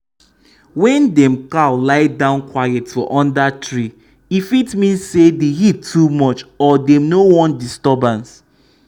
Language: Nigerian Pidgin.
wen dem cow lie down quiet for under tree e fit mean say the heat too much or dey no wan disturbance